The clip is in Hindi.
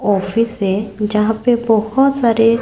ऑफिस है जहां पे बहोत सारे--